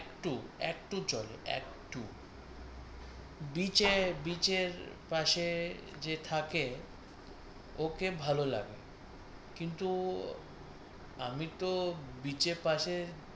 একটু একটু চলে। একটু beach এ beach এর পাশে যে থাকে ওকে ভালো লাগে কিন্ত আমি তো beach এর পাশে